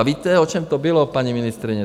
A víte, o čem to bylo, paní ministryně?